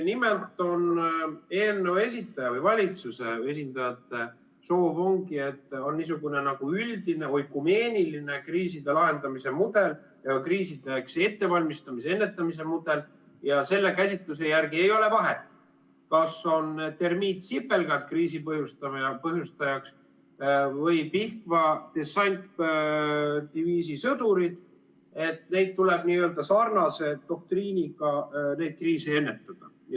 Nimelt, eelnõu esitaja või valitsuse esindajate soov ongi, et on niisugune üldine, oikumeeniline kriiside lahendamise mudel ja kriisideks ettevalmistamise, kriisiennetamise mudel ja selle käsitluse järgi ei ole vahet, kas on termiitsipelgad kriisi põhjustajaks või Pihkva dessantdiviisi sõdurid, neid kriise tuleb n-ö sarnase doktriiniga ennetada.